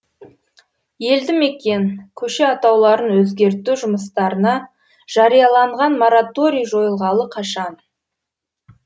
елді мекен көше атауларын өзгерту жұмыстарына жарияланған мораторий жойылғалы қашан